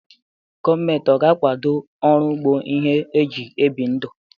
Gọọmenti ọ ga-akwado ọrụ ugbo ihe eji ebi ndụ?